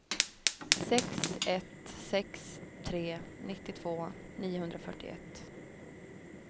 sex ett sex tre nittiotvå niohundrafyrtioett